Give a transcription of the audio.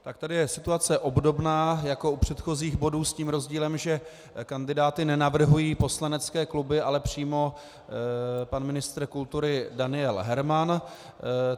Tak tady je situace obdobná jako u předchozích bodů s tím rozdílem, že kandidáty nenavrhují poslanecké kluby, ale přímo pan ministr kultury Daniel Herman.